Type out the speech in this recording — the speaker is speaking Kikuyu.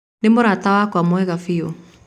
Nĩ mũrata wakwa mwega biũ.